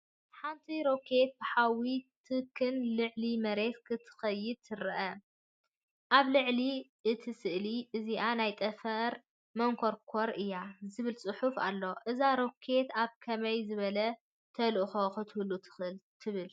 ሓንቲ ሮኬት ብሓውን ትክን ልዕሊ መሬት ክትድይብ ትረአ። ኣብ ልዕሊ እቲ ስእሊ፡ “እዚኣ ናይ ጠፈር መንኮርኮር እያ” ዝብል ጽሑፍ ኣሎ። እዛ ሮኬት ኣብ ከመይ ዝበለ ተልእኾ ክትህሉ ትኽእል ትብል?